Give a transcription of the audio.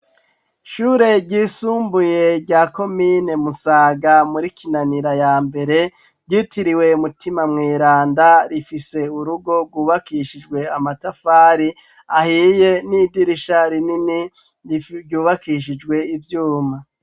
Ishure ryisumbuye rya komine Musaga muri Kinanira ya mbere ryitiriwe mutima mweranda rifise urugo rwubakishijwe amatafari ahiye n'idirisha rinini ryubakishijwe ivyuma.